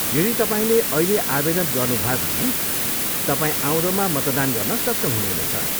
यदि तपाईँले अहिले आवेदन गर्नुभयो भने तपाईँ आउँदोमा मतदान गर्न सक्षम हुनुहुने छ।